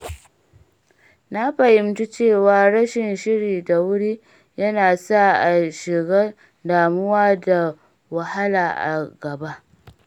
Na fahimci cewa rashin shiri da wuri yana sa a shiga damuwa da wahala a gaba.